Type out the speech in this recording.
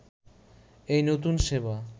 এই নতুন সেবা